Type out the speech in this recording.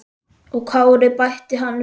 Og Kári, bætti hann við.